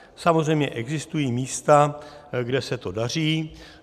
Samozřejmě existují místa, kde se to daří.